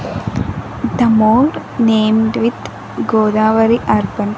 the mall named with godavari urban.